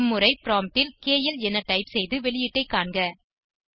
இம்முறை ப்ராம்ப்ட் ல் கேஎல் என டைப் செய்து வெளியீட்டை காண்க